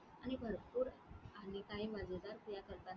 आणि भरपूर आणि काही मजेदार क्रिया करताना.